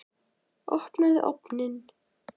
Opnaðu ofninn!